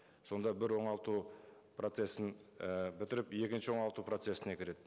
сонда бір оңалту процессін і бітіріп екінші оңалту процессіне кіреді